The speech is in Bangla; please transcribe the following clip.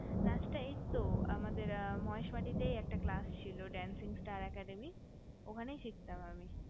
নাচটা এইতো আমাদের মহেশ মাটিতেতেই একটা ক্লাস ছিল dancing star academy ওখানেই শিখতাম